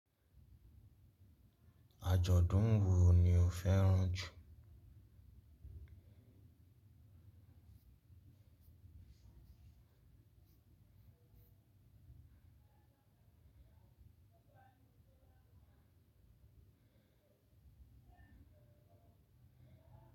Àjọ̀dún wo ni o fẹ́ràn jù?